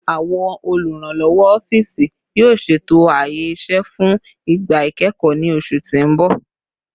Awọn oluranlọwọ ọfiisi, yoo ṣeto aaye iṣẹ fun igba ikẹkọ ni oṣu ti n bọ